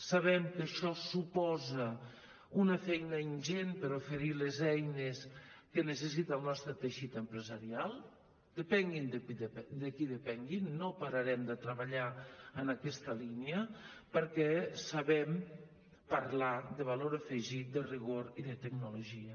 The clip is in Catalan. sabem que això suposa una feina ingent per oferir les eines que necessita el nostre teixit empresarial depenguin de qui depenguin no pararem de treballar en aquesta línia perquè sabem parlar de valor afegit de rigor i de tecnologia